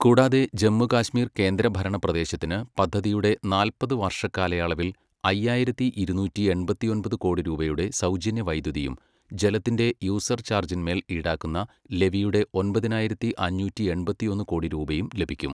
കൂടാതെ ജമ്മുകാശ്മീർ കേന്ദ്രഭരണ പ്രദേശത്തിന് പദ്ധതിയുടെ നാല്പത് വർഷക്കാലയളവിൽ അയ്യായിരത്തി ഇരുന്നൂറ്റി എൺപത്തൊമ്പത് കോടി രൂപയുടെ സൗജന്യ വൈദ്യുതിയും ജലത്തിന്റെ യൂസർ ചാർജ്ജിൻ മേൽ ഈടാക്കുന്ന ലെവിയുടെ ഒമ്പതിനായിരത്തി അഞ്ഞൂറ്റി എൺപത്തിയൊന്ന് കോടി രൂപയും ലഭിക്കും.